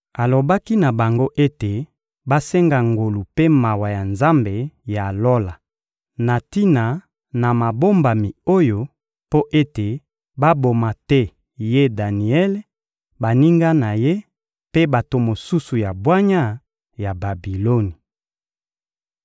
Alobaki na bango ete basenga ngolu mpe mawa ya Nzambe ya Lola na tina na mabombami oyo, mpo ete baboma te ye Daniele, baninga na ye mpe bato mosusu ya bwanya ya Babiloni.